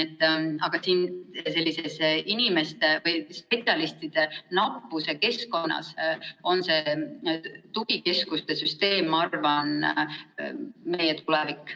Aga sellises inimeste või spetsialistide nappuse keskkonnas on selline tugikeskuste süsteem, ma arvan, meie tulevik.